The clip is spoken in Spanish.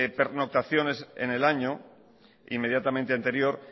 pernoctaciones en el año inmediatamente anterior